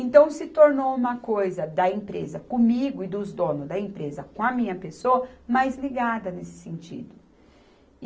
Então, se tornou uma coisa da empresa comigo e dos donos da empresa com a minha pessoa, mais ligada nesse sentido.